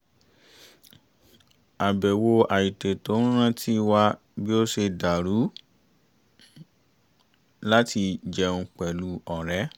àbẹ̀wò àìtètò ń rántí wa bí ó ṣe dàrú láti jẹun pẹ̀lú ọ̀rẹ́